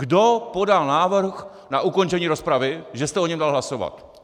Kdo podal návrh na ukončení rozpravy, že jste o něm dal hlasovat?